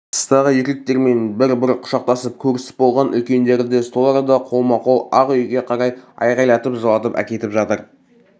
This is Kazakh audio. тыстағы еркектермен бір-бір құшақтасып көрісіп болған үлкендерді сол арада қолма-қол ақ үйге қарай айғайлатып жылатып әкетіп жатыр